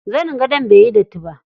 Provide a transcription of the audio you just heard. Zanin gadon baiyi datti ba.